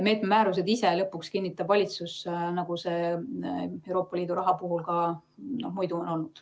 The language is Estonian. Meetme määrused ise kinnitab lõpuks valitsus, nagu see Euroopa Liidu raha puhul ka muidu on olnud.